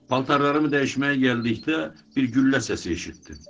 Paltarlarımı dəyişməyə gəldikdə bir güllə səsi eşitdim.